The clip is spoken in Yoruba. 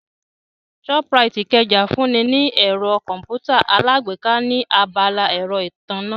Shoprite Ikeja ń fún ni ní ẹ̀rọ Kọ̀m̀pútà alágbèéká ní abala ẹ̀rọ ìtànná